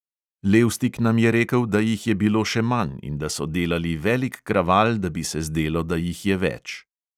Levstik nam je rekel, da jih je bilo še manj in da so delali velik kraval, da bi se zdelo, da jih je več.